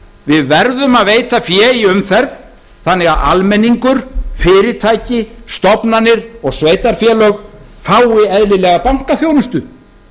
við verðum að veita fé í umferð þannig að almenningur fyrirtæki stofnanir og sveitarfélög fái eðlilega bankaþjónustu